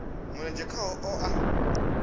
mulenzhe khaho vha o a